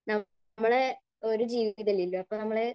നമ്മളെ ഒരു ജീവിതമല്ലേയുള്ളൂ, അപ്പോൾ നമ്മള്.